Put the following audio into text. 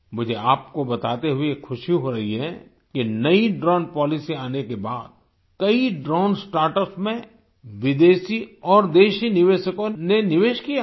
मुझे आपको बताते हुए खुशी हो रही है कि नई ड्रोन पॉलिसी आने के बाद कई ड्रोन स्टार्टअप्स में विदेशी और देसी निवेशकों ने निवेश किया है